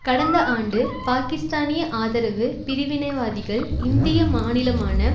கடந்த ஆண்டு பாகிஸ்தானிய ஆதரவு பிரிவினைவாதிகள் இந்திய மாநிலமான